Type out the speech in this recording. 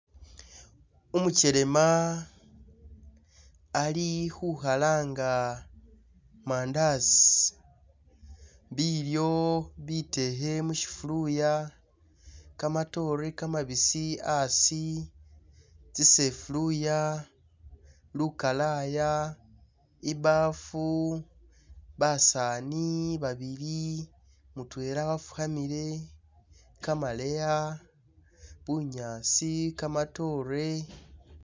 Umukyelema ali' khukhalanga mandasi bilyo bitekhe mushifuluya, kamatore kamabisi asi tsisefuluya, lukalaya, imbafu, basani babili mutwela wafukhamile, kamaleya, bunyasi, kamatore